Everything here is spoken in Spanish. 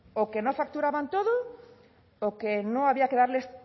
o que no facturaban todo o que no había que darles